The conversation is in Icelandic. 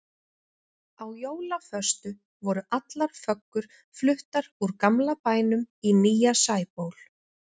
Á jólaföstu voru allar föggur fluttar úr gamla bænum í nýja Sæból.